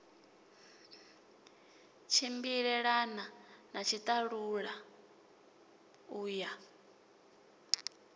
tshimbilelana na tshiṱalula u ya